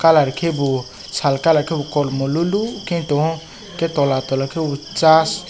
colour kebo sal colour ke bo kormo lolo ke tongo hingke tola tola ke sash.